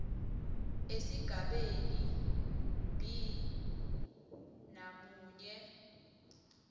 esigabeni b namunye